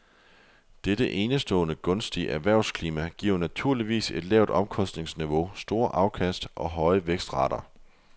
Dette enestående gunstige erhvervsklima giver naturligvis et lavt omkostningsniveau, store afkast og høje vækstrater.